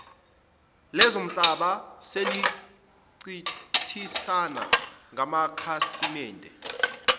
lezomhlaba selincintisana ngamakhasimede